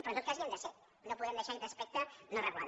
però en tot cas hi han de ser no podem deixar aquest aspecte no regulat